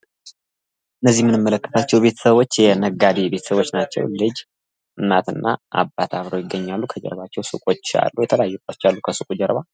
እነዚህ የምንመለከታቸው ቤተሰቦች የነጋዴ ቤተሰቦች ናቸው። ልጅ፣ እናትና አባት አብረው ይገኛሉ። ከጀርባው ሱቆች አሉ። የተለያዩ ዕቃዎች አሉ ከሱቆች ጀርባ።